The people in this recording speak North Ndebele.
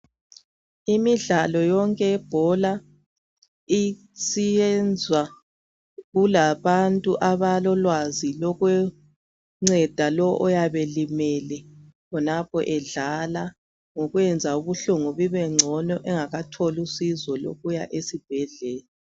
Imidlalo yonke yebhola isiyenzwa kulabantu abalolwazi lokunceda lo oyabelimele khonapho edlala ngokwenza ubuhlungu bubengcono engakatholi usizo lokuya esibhedlela.